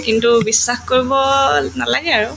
কিন্তু বিশ্বাস কৰিব নালাগে আৰু